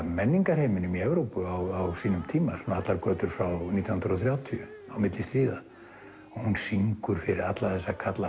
menningarheiminum í Evrópu á sínum tíma allar götur frá nítján hundruð og þrjátíu á milli stríða hún syngur fyrir alla þessa kalla